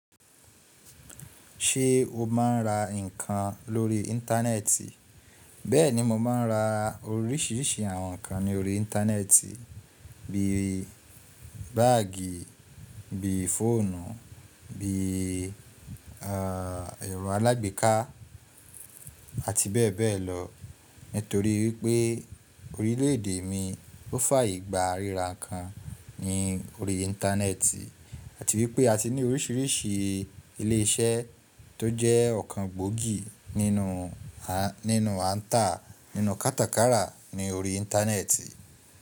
Ṣé o máa ń ra nǹkan lórí Íńtánẹ́ẹ̀tì? Bẹ́ẹ̀ni, mo máa ń ra oríṣìíríṣìí àwọn nǹkan ní orí Íńtánẹ́ẹ̀tì, bí i báàgì, bí i fóònù, bí i ẹ̀rọ alágbèéká àti bẹ́ẹ̀ bẹ́ẹ̀ lọ. Nítorí wípé orílẹ̀ èdè mi ó fàyè gba ríra nǹkan ní orí Íńtánẹ́ẹ̀tì àti wípé a ti ní oríṣìíríṣìí ilé iṣẹ́ tó jẹ́ ọ̀kan gbòógì nínú, nínú àǹtà nínú kátàkárà ní orí Íńtánẹ́ẹ̀tì.